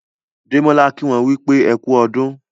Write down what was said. Demola kí wón wípé ẹkú ọdún.